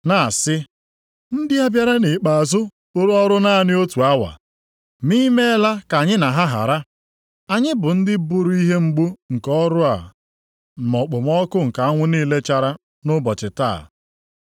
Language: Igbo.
na-asị, ‘Ndị a bịara nʼikpeazụ rụrụ ọrụ naanị otu awa, ma i meela ka anyị na ha hara. Anyị bụ ndị buru ihe mgbu nke ọrụ ma okpomọkụ nke anwụ niile chara nʼụbọchị taa.’